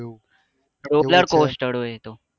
roller coaster હોય એ તો